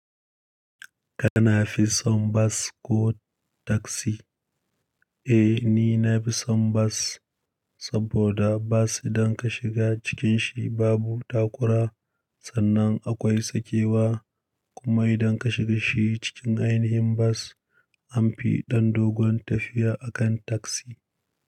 Kana fi son bas ko taksi? Eh, ni nafi son bas, saboda bas idan ka shiga cikin shi babu takura, sannan akwai sakewa. Kuma idan ka shiga shi cikin ainihin bas, an fi ɗan dogon tafiya a kan taksi.